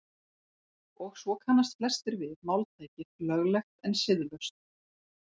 Og svo kannast flestir við máltækið löglegt en siðlaust.